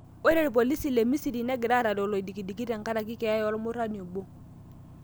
Ore polisi le misiri negira arare olodikidiki tenkaraki keya omurani obo.